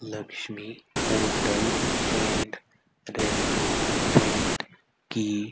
Lakshmi hotel and restaurant की--